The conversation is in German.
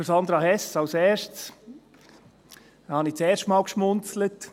Zu Sandra Hess zuerst: Da habe ich das erste Mal geschmunzelt.